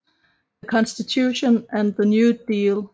The Constitution and the New Deal